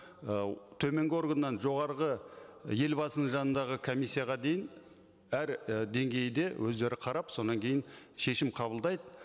ы төменгі органнан жоғарғы елбасының жанындағы комиссияға дейін әр і деңгейде өздері қарап содан кейін шешім қабылдайды